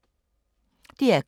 DR K